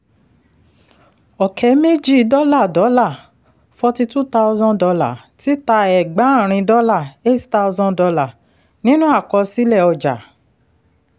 ọ̀kẹ́ méjì dọ́là dọ́là forty-two thousand dollar títà ẹ̀gbáàrìn dọ́là eight thousand dollar nínú àkọsílẹ̀ ọjà.